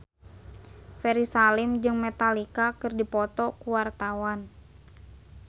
Ferry Salim jeung Metallica keur dipoto ku wartawan